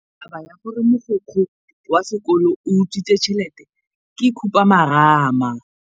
Taba ya gore mogokgo wa sekolo o utswitse tšhelete ke khupamarama.